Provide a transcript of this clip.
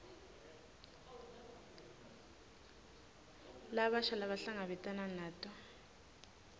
labasha labahlangabetana nato